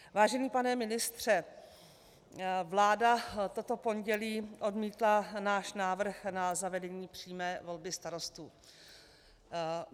Vážený pane ministře, vláda toto pondělí odmítla náš návrh na zavedení přímé volby starostů.